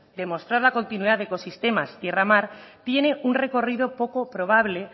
demostrar la continuidad de ecosistemas tierra mar tiene un recorrido poco probable